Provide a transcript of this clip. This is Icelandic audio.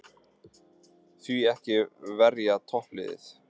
Því ekki að verja toppliðin?